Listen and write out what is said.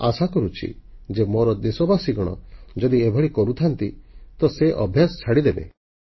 ମୁଁ ଆଶା କରୁଛି ଯେ ମୋର ଦେଶବାସୀ ଯଦି ଏଭଳି କରୁଥାନ୍ତି ତ ସେ ଅଭ୍ୟାସ ଛାଡ଼ିଦେବେ